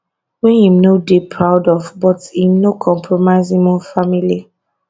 wey im no dey proud of but im no compromise im own family